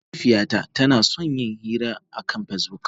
Mahaifiyata tana son yin hira akan Facebook.